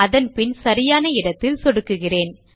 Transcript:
அதன்பின் சரியான இடத்தில் சொடுக்குகிறேன்